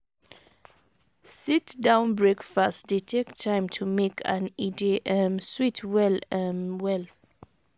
sit-down breakfast dey take time to make and e dey um sweet well um well